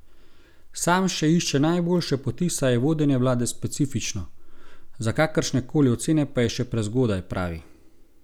Sam še išče najboljše poti, saj je vodenje vlade specifično, za kakršne koli ocene pa je še prezgodaj, pravi.